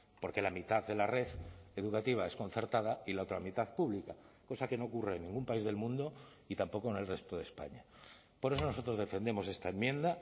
porque la mitad de la red educativa es concertada y la otra mitad pública cosa que no ocurre en ningún país del mundo y tampoco en el resto de españa por eso nosotros defendemos esta enmienda